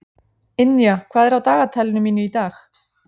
Ynja, hvað er á dagatalinu mínu í dag?